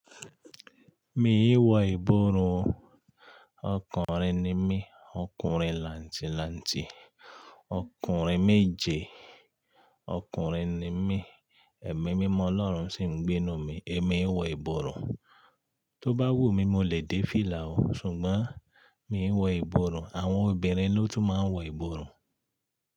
Mi ò wọ ìborùn o. Ọkùnrin ni mí, ọkùnrin làǹtìlanti, ọkùnrin méje. Ọkùnrin ni mí, ẹ̀mí mímọ́ Ọlọ́run sì ń gbénu mi. Èmi ò wọ ìborùn. Tó bá wù mí, mo lè dé fìlà o, ṣùgbọ́n mi ò wọ ìborùn. Àwọn obìnrin ló tún máa ń wọ ìborùn.